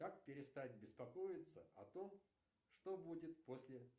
как перестать беспокоиться о том что будет после